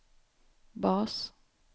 bas